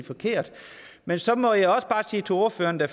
forkert men så må jeg også bare sige til ordføreren at